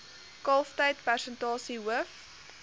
kalftyd persentasie hoof